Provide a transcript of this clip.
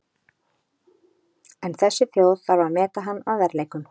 En þessi þjóð þarf að meta hann að verðleikum.